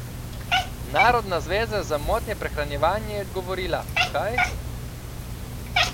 Narodna zveza za motnje prehranjevanja ji je odgovorila: "Kaj?